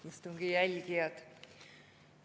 Head istungi jälgijad!